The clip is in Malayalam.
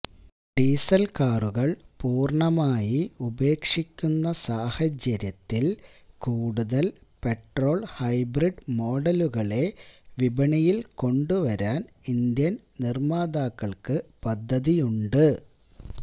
ഡീസല് കാറുകള് പൂര്ണമായി ഉപേക്ഷിക്കുന്ന സാഹചര്യത്തില് കൂടുതല് പെട്രോള് ഹൈബ്രിഡ് മോഡലുകളെ വിപണിയില് കൊണ്ടുവരാന് ഇന്ത്യന് നിര്മ്മാതാക്കള്ക്ക് പദ്ധതിയുണ്ട്